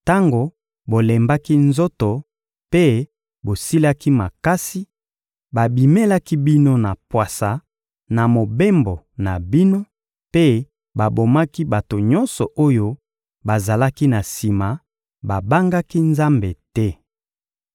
tango bolembaki nzoto mpe bosilaki makasi, babimelaki bino na pwasa na mobembo na bino mpe babomaki bato nyonso oyo bazalaki na sima; babangaki Nzambe te.